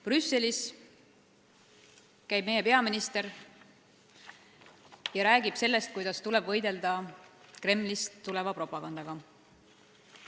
Brüsselis räägib meie peaminister sellest, kuidas tuleb võidelda Kremli propagandaga.